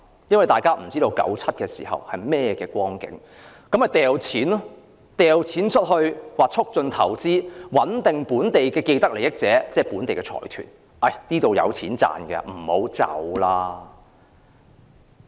由於大家都不知道1997年會是甚麼光景，所以政府便大灑金錢促進投資，穩定本地的既得利益者，即本地財團，令它們留下來繼續賺錢。